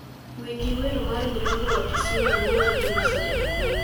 Winji wer mar mrembo wa kisumu mower gi musa jakadala